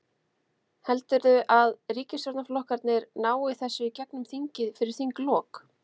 Heldurðu að ríkisstjórnarflokkarnir nái þessu í gegnum þingið fyrir þinglok?